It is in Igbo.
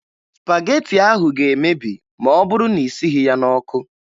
Spagetị ahụ ga-emebi ma ọ bụrụ na ị sighi ya n'ọkụ